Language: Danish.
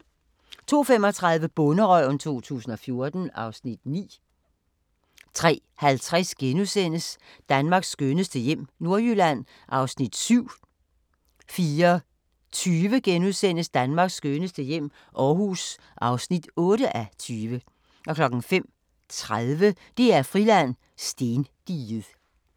02:35: Bonderøven 2014 (Afs. 9) 03:50: Danmarks skønneste hjem - Nordjylland (7:20)* 04:20: Danmarks skønneste hjem - Aarhus (8:20)* 05:30: DR-Friland: Stendiget